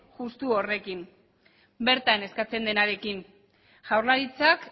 justu horrekin bertan eskatzen denarekin jaurlaritzak